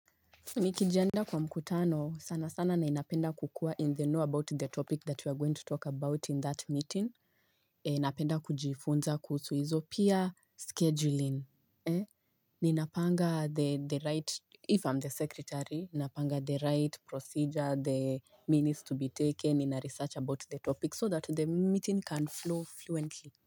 Nikijiandaa kwa mkutano, sana sana ninapenda kukua in the know about the topic that we are going to talk about in that meeting, and Napenda kujifunza kuhusu hizo pia scheduling. Ninapanga the right if I'm the secretary, napanga the right procedure, the minutes to be taken, ninaresearch about the topic so that the meeting can flow fluently.